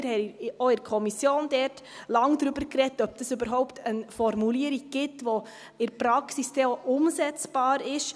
Wir haben auch in der Kommission lange darüber gesprochen, ob es überhaupt eine Formulierung gibt, die in der Praxis dann auch umsetzbar ist.